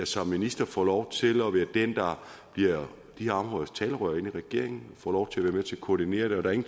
som minister får lov til at være den der bliver de her områders talerør i regeringen og får lov til at være med til at koordinere det